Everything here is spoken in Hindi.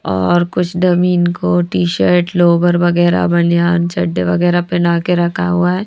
और कुछ डमीन को टी-शर्ट लोबर वगैरह बनयान छड्डे वगैरह पहना के रखा हुआ है।